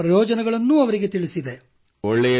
card ನ ಪ್ರಯೋಜನಗಳನ್ನು ಅವರಿಗೆ ತಿಳಿಸಿದೆ